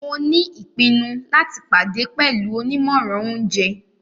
Mo ni ipinnu lati pade pẹlu onimọran ounjẹ.